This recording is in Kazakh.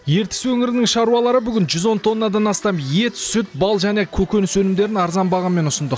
ертіс өңірінің шаруалары бүгін жүз он тоннадан астам ет сүт бал және көкөніс өнімдерін арзан бағамен ұсындық